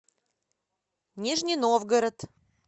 нижний новгород